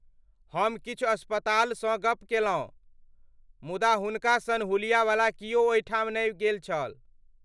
हम किछु अस्पतालसँ गप केलहुँ, मुदा हुनका सन हुलियावला कियो ओहिठाम नहि गेल छल।